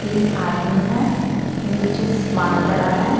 तीन आदमी है नीचे सामान पड़ा है।